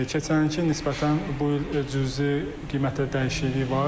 Keçən ilə nisbətən bu il cüzi qiymətə dəyişikliyi var.